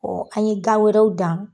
Ɔ an ye gan wɛrɛw dan.